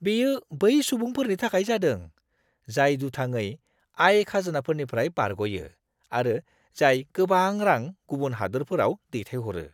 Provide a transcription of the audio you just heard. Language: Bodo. बेयो बै सुबुंफोरनि थाखाय जादों, जाय दुथाङै आय खाजोनानिफ्राय बारग'यो आरो जाय गोबां रां गुबुन हादोरफोराव दैथायहरो!